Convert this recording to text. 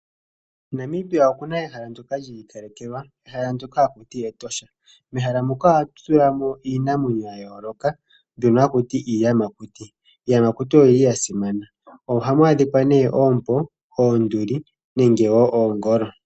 Namibia okuna ehala ndyoka lyiikalekelwa. Ehala ndyoka haku tiwa Etosha National Park. Mehala ndyoka ohatu tulamo iinamwenyo yayooloka mbyono hatuti iiyamakuti. Iiyamakuti oyili yasimana. Ohamu adhikwa oompo , oonduli nenge oongolo.